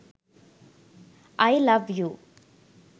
i love u